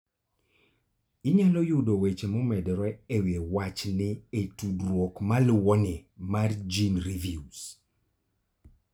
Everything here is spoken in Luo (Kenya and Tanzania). Inyalo yudo weche momedore e wi wachni e tudruok maluwoni mar GeneReviews.